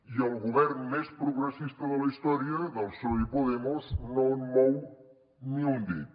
i el govern més progressista de la història del psoe i podemos no mou ni un dit